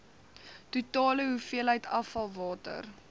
totale hoeveelheid afvalwater